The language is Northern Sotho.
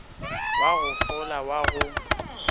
wa go fola wa go